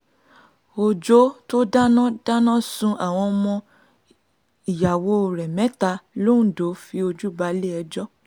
ọjọ́ tó dáná dáná sun àwọn ọmọ ìyàwó rẹ̀ mẹ́ta londo ti fojú balẹ̀-ẹjọ́